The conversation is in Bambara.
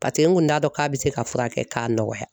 Paseke n kun t'a dɔn k'a bɛ se ka furakɛ k'a nɔgɔya.